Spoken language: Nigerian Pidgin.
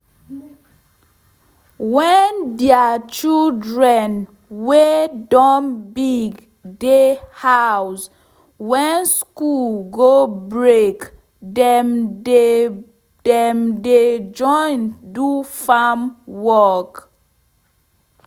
wen deir children wey don big dey house wen school go break dem dey dem dey join do farm work